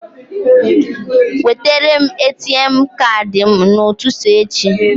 Wetere m ATM Kaadị m n'ụtụtụ echi.